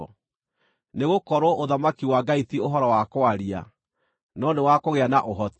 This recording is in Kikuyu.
Nĩgũkorwo ũthamaki wa Ngai ti ũhoro wa kwaria, no nĩ wa kũgĩa na ũhoti.